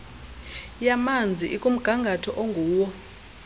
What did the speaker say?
yamanzi ikumgangatho onguwo